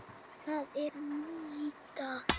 Það er mýta.